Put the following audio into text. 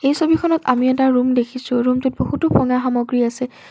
এই ছবিখনত আমি এটা ৰুম দেখিছোঁ ৰুমটোত বহুতো ক'লা সামগ্ৰী আছে।